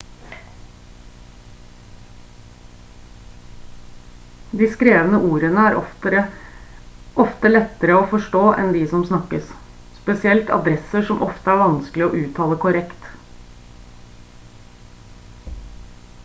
de skrevne ordene er ofte lettere å forstå enn de som snakkes spesielt adresser som ofte er vanskelig å uttale korrekt